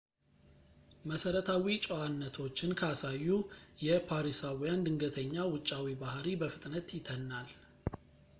መሰረታዊ ጨዋነቶችን ካሳዩ የፓሪሳዊያን ድንገተኛ ውጫዊ ባህሪ በፍጥነት ይተናል